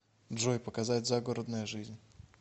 джой показать загородная жизнь